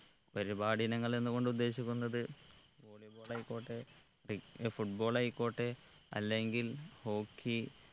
പരിപാടി ഇനങ്ങൾ എന്ന് കൊണ്ട് ഉദ്ദേശിക്കുന്നത് volley ball ആയിക്കോട്ടെ ഏർ football ആയിക്കോട്ടെ അല്ലെങ്കിൽ hockey